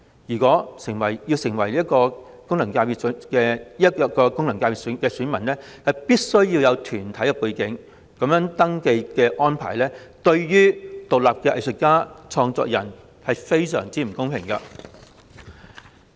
因此，想成為這個功能界別的選民，便必須要有團體背景。這種登記安排對於獨立藝術家和創作人而言，相當不公平。